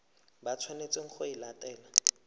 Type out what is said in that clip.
ba tshwanetseng go e latela